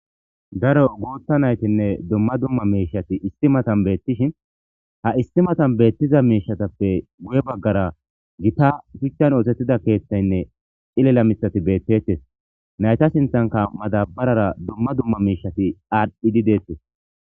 Daro guutta naytinne dumma dumma miishati issi matan beettishin ha issi matan beettiza miishatappe guye baggara gita shuchchan ootettida keeththaynne cilela misati beettettes nayta sinthanka madabarara dumma dumma miishati aadhdhidi deettes.